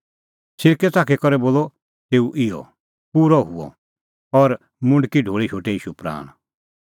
सिरकै च़ाखी करै बोलअ तेऊ इहअ पूरअ हुअ और मुंडकी ढोल़ी शोटै ईशू प्राण